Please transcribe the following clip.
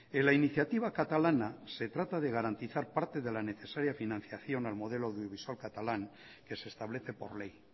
en la iniciativa catalana se trata de garantizar parte de la necesaria financiación al modelo audiovisual catalán que se establece por ley